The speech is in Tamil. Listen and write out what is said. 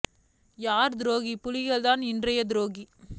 யார் துரொகி புலிகள் தான் இன்ரைய துரொகி